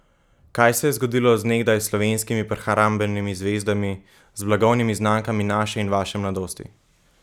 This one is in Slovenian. Kaj se je zgodilo z nekdaj slovenskimi prehrambenimi zvezdami, z blagovnimi znamkami naše in vaše mladosti?